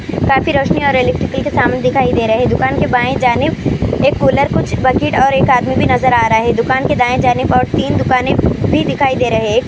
کافی روشنی کل کے سامنے دکھائی دے رہے ہیں دکان کے بائیں جانب ایک کولر کچھ بکیٹ اور ایک ادمی بھی نظر ارہا ہے دکان کے دائیں جانب اور تین دکانیں بھی.